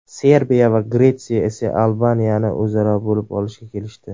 Serbiya va Gretsiya esa Albaniyani o‘zaro bo‘lib olishga kelishdi.